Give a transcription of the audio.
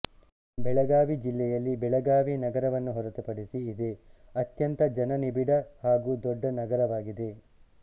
ಬೆಳಗಾವಿ ಜಿಲ್ಲೆಯಲ್ಲಿ ಬೆಳಗಾವಿ ನಗರವನ್ನು ಹೊರತುಪಡಿಸಿ ಇದೆ ಅತ್ಯಂತ ಜನನಿಬಿಡ ಹಾಗೂ ದೊಡ್ಡ ನಗರವಾಗಿದೆ